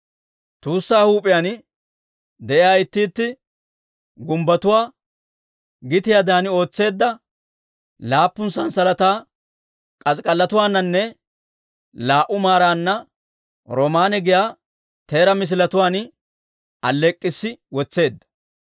Tuussaa huup'iyaan de'iyaa itti itti gumbbotuwaa gitiyaadan ootseedda laappun sanssalataa k'as'ik'allotuwaaninne laa"u maarana roomaanne giyaa teeraa misiletuwaan alleek'k'issi wotseedda.